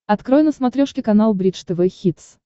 открой на смотрешке канал бридж тв хитс